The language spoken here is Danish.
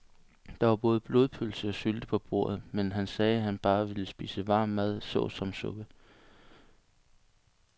Der var både blodpølse og sylte på bordet, men han sagde, at han bare ville spise varm mad såsom suppe.